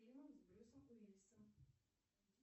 фильмы с брюсом уиллисом